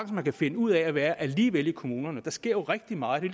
man kan finde ud af at være alligevel i kommunerne der sker rigtig meget det